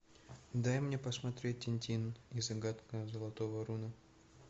дай мне посмотреть тинтин и загадка золотого руна